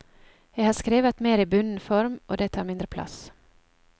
Jeg har skrevet mer i bunden form, og det tar mindre plass.